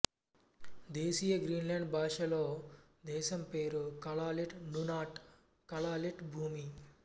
దేశీయ Greenland భాషలో దేశం పేరు కలాల్లిట్ నునాట్ కలాల్లిట్ భూమి